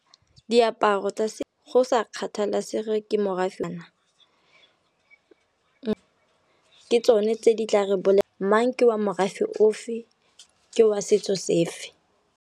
Diaparo tsa go sa kgathalesege ke morafe ke tsone tse di tla re mang ke wa morafe ofe ke wa setso sefe.